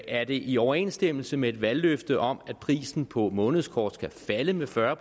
er det i overensstemmelse med de valgløfter om at prisen på månedskort skulle falde med fyrre